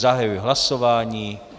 Zahajuji hlasování.